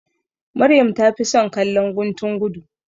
Maryam ta fi son kallon guntun gudu.